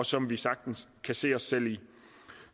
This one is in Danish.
som vi sagtens kan se os selv i